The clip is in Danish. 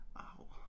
Av